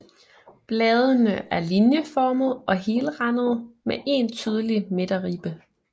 Bladene er linjeformede og helrandede med én tydelig midterribbe